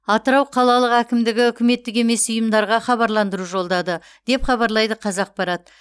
атырау қалалық әкімдігі үкіметтік емес ұйымдарға хабарландыру жолдады деп хабарлайды қазақпарат